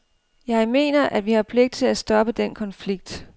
Jeg mener, at vi har pligt til at stoppe den konflikt.